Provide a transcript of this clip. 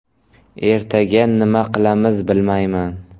Ertaga nima qilamiz, bilmayman.